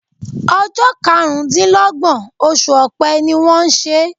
Ojó karùndínlógbòn osù òpe ni wón n sè